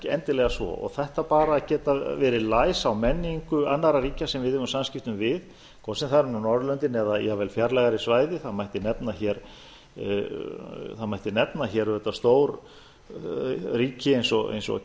endilega svo þetta bara að geta verið læs á menningu annarra ríkja sem við eigum samskipti við hvort sem það eru nú norðurlöndin eða jafnvel fjarlægari svæði það mætti nefna hér auðvitað stór ríki eins og